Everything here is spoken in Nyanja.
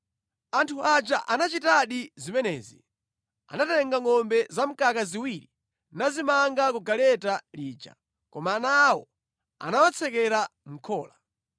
Anthu aja anachitadi zimenezi. Anatenga ngʼombe zamkaka ziwiri nazimanga ku galeta lija. Koma ana awo anawatsekera mʼkhola.